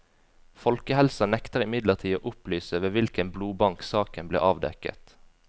Folkehelsa nekter imidlertid å opplyse ved hvilken blodbank saken ble avdekket.